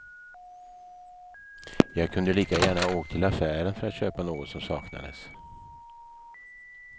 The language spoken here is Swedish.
Jag kunde lika gärna ha åkt till affären för att köpa något som saknades.